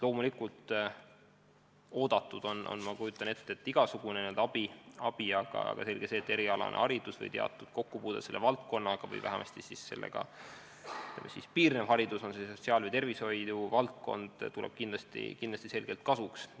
Loomulikult oodatud on, ma kujutan ette, igasugune abi, aga selge see, et erialane või vähemasti sellega piirnev haridus või mingi muu kokkupuude sotsiaal- või tervishoiu valdkonnaga tuleb kindlasti kasuks.